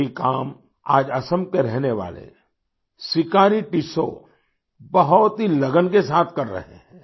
यही काम आज असम के रहने वाले सिकारी टिस्सौ बहुत ही लगन के साथ कर रहे है